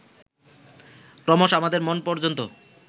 ক্রমশঃ আমাদের মন পর্যন্ত